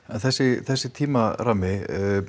þessi þessi tímarammi